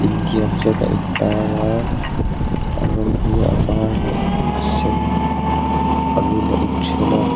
India flag a in tar a a rawng hi a var leh a sen angin a inṭhen a.